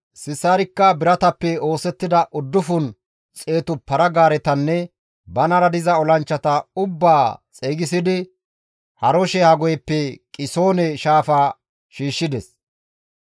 Sisaarikka biratappe oosettida uddufun xeetu para-gaaretanne banara diza olanchchata ubbaa xeygisidi Haroshe-Hagoyeppe Qisoone shaafa shiishshides.